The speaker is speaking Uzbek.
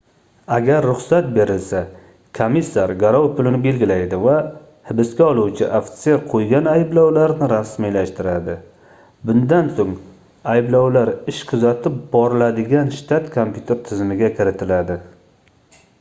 agar ruxsat berilsa komissar garov pulini belgilaydi va hibsga oluvchi ofitser qoʻygan ayblovlarni rasmiylashtiradi bundan soʻng ayblovlar ish kuzatib boriladigan shtat kompyuter tizimiga kiritiladi